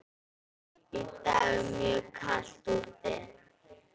Í dag er mjög kalt úti.